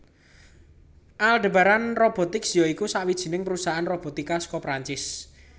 Aldebaran Robotics ya iku sawijining perusahaan robotika saka Prancis